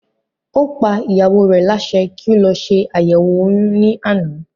Ó pa ìyàwó rẹ̀ lásẹ kí ó lọ se àyẹ̀wò oyún ní àná